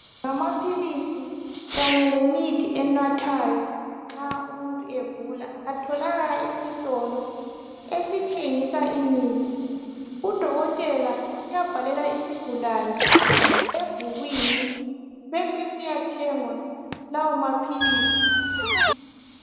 Amaphilisi kanye lemithi enathwayo nxa umuntu egula atholakala esitolo esithengisa imithi udokotela uyabhalela isigulane ebhukwini besesiya thengwa lawo maphilisi